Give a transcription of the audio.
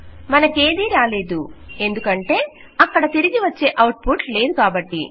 మనకేదీ రాలేదు ఎందుకంటే అక్కడ తిరిగి వచ్చే ఔట్ పుట్ లేదు కాబట్టి